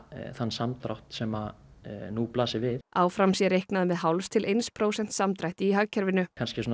þann samdrátt sem nú blasir við áfram sé reiknað með hálfs til eins prósents samdrætti í hagkerfinu